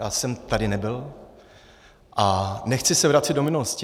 Já jsem tady nebyl a nechci se vracet do minulosti.